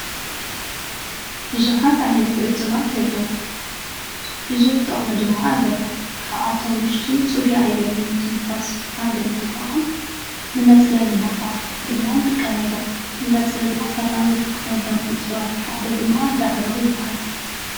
ብዙሓት ዓይነት እፅዋት ኣለዉ። ብዙሕ ጥቕሚ ድማ ኣለዎ ካብኣቶም ዉሽጢ ፅሩይ ኣየር ንምትንፋስ ሓደ እንትኸውን ንመፅለሊ ቦታ ድማ ንጥቀመሎም። ንመፅለሊ ቦታ ካብ ንጥቀመሎም እፅዋት ሓደ ድማ ዳዕሮ ይበሃል።